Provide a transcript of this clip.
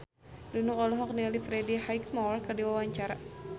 Nunung olohok ningali Freddie Highmore keur diwawancara